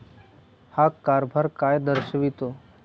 हा कारभार काय दर्शवितो?